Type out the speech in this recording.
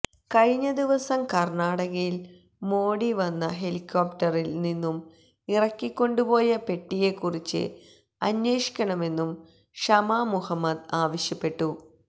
കഴിഞ്ഞ ദിവസം കര്ണാടകയില് മോഡി വന്ന ഹെലികോപ്ടറില് നിന്നും ഇറക്കികൊണ്ടുപോയ പെട്ടിയെക്കുറിച്ച് അന്വേഷിക്കണമെന്നും ഷമ മുഹമ്മദ് ആവശ്യപ്പെട്ടു